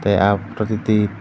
a ah photo ti ti.